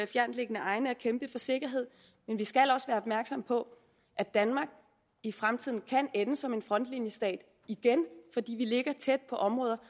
fjerntliggende egne og kæmpe for sikkerhed men vi skal også være opmærksomme på at danmark i fremtiden kan ende som en frontlinjestat igen fordi vi ligger tæt på områder